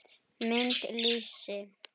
Mynd: Lýsi.